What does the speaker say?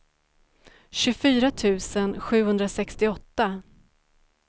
tjugofyra tusen sjuhundrasextioåtta